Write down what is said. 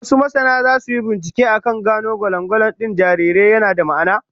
Wasu masana zasu yi binciken akan gano ko gwalangwalan din jarirai yana da ma'ana.